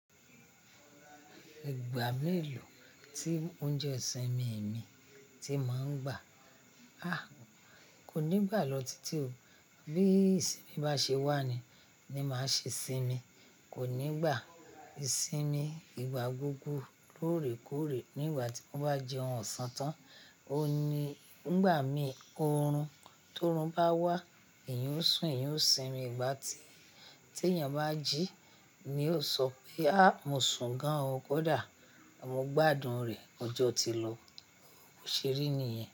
Ìgbà mélòó tí oúnjẹ sínmi mii ti máa ń gbà? A! Kò ní gbà lọ titi ò. Bí isínmi bá ṣe wà ni, ni màá ṣe sinmi. Kò ní gbà ìsinmi ìgbà gbogbo lóòrèkóòrè. Ní ìgbà tí mo bá jẹ ohun ọ̀sán tán, o ni ngbà mìí oorun tórun bá wá, eyan o sùn, eyan o sinmi. Ìgbà tí tèèyàn bá jí, ní o sọ pé "à mo sùn gan o, kódà mo gbádùn rẹ". Ọjọ́ ti lọ, bo se ri niyẹn.